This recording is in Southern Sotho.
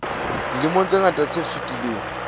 dilemong tse ngata tse fetileng